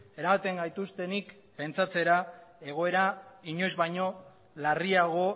eramaten gaituztenik pentsatzera egoera inoiz baino larriago